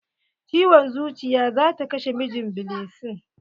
Ciwon zuciya zata kashe mijin blessing.